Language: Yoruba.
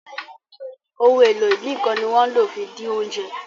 Ohun èlò ìdínkán ni wón ló fí dín oúnjẹ.